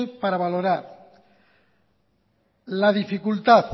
para valorar la dificultad